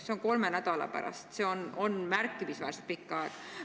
See on kolme nädala pärast, mis on märkimisväärselt pikk aeg.